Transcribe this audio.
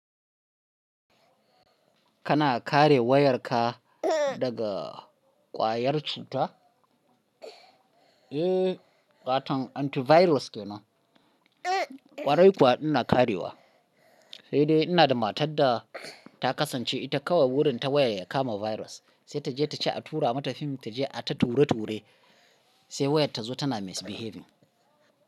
Kana kare wayarka daga ƙwayar cuta? Eh, ƙaton antivirus ke nan. Ƙwarai kuwa ina karewa. Sai dai ina da matar da ta kasance ita kawai wurin ta waya ya kama virus. Sai ta je ta ce a tura mata fim, ta je a ta ture-ture. Sai wayar ta zo tana misbehaving.